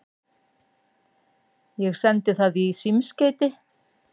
Ég sendi það í símskeyti.